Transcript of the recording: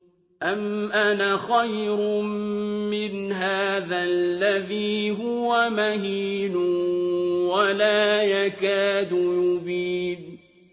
أَمْ أَنَا خَيْرٌ مِّنْ هَٰذَا الَّذِي هُوَ مَهِينٌ وَلَا يَكَادُ يُبِينُ